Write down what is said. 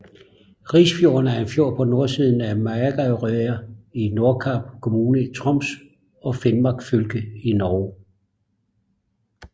Risfjorden er en fjord på nordsiden af Magerøya i Nordkap kommune i Troms og Finnmark fylke i Norge